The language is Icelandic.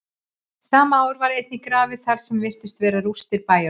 sama ár var einnig grafið þar sem virtust vera rústir bæjarhúsa